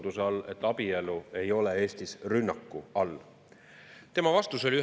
Tuleb välja, et seitse aastat ei olnud sellega absoluutselt kiire ja nüüd on nii kiire, et see tuleb vastu võtta koos abieluvõrdsuse.